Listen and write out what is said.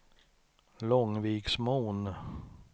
Långviksmon